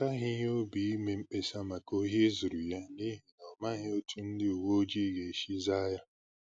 Ọ kaghị ya obi ime mkpesa maka ohi e zuru ya, n’ihi na ọ̀ maghị̀ otú ndị uweojii gā-esi zàa ya